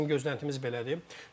Hər halda bizim gözləntimiz belədir.